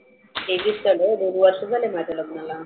तेवीस चालू आहे दोन वर्ष झाली माझ्या लग्नाला.